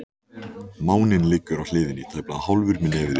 Máninn liggur á hliðinni, tæplega hálfur með nefið upp.